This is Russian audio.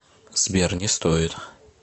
сбер не стоит